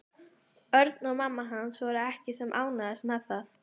Örn og mamma hans voru ekki sem ánægðust með það.